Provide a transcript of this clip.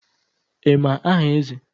Ị ma aha Eze?